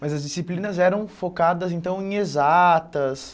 Mas as disciplinas eram focadas, então, em exatas.